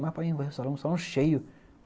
Mas, painho, earreir o salão, o salão é cheio.